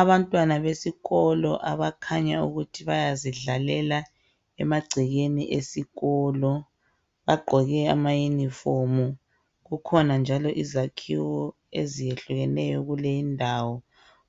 Abantwana besikolo abakhanya ukuthi bayazidlalela emagcekeni esikolo .Bagqoke amauniform. Kukhona njalo izakhiwo eziyehlukeneyo kule indawo